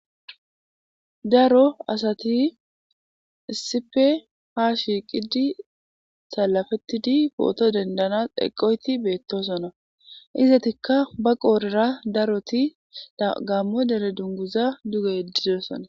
daro asati issipe ha shiiqidi salafettidi pooto dendana eqoyti beettosona izatikka ba qoorera daroti gammo dere dunguza duge ddidosona